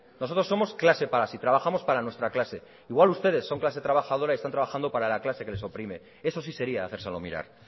nosotros somos clase para sí trabajamos para nuestra clase igual ustedes son clase trabajadora y están trabajando para la clase que les oprime eso sí sería hacérselo mirar